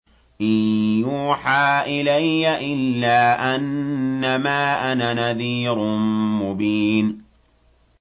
إِن يُوحَىٰ إِلَيَّ إِلَّا أَنَّمَا أَنَا نَذِيرٌ مُّبِينٌ